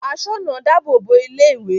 Asoona dáàbò bo ilé-ìwé.